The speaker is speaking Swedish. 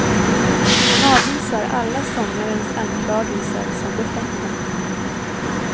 Han avvisar alla sångarens anklagelser som befängda.